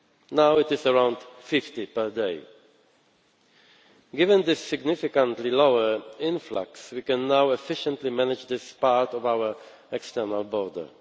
Now it is around 50 per day. Given this significantly lower influx, we can now efficiently manage this part of our external border.